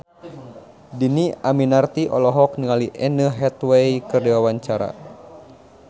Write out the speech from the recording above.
Dhini Aminarti olohok ningali Anne Hathaway keur diwawancara